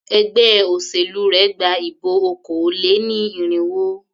Ẹgbé òṣèlú rẹ gba ìbọ̀ okòó-lé-ní-irínwó.